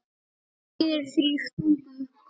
Hinir þrír stungu upp kóng.